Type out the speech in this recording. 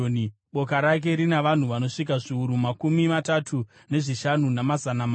Boka rake rina vanhu vanosvika zviuru makumi matatu nezvishanu, namazana mana.